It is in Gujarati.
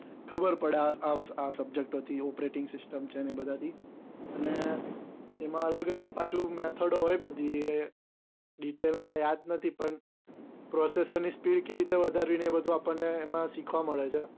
ખબર પડે આ subject ઓ થી operating system છે. એ બધાથી અને એમાં અલગ અલગ પાછું method હોય બધી એ detail માં યાદ નથી પણ possessive ની speed કેવી રીતે વધારવી ને એ બધું અપડ ને શીખવા મળે છે